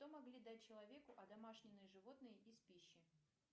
что могли дать человеку одомашненные животные из пищи